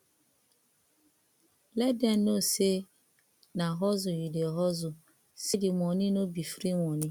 let dem no sey na hustle you dey hustle sey di moni no bi free moni